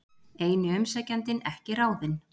Eini umsækjandinn ekki ráðinn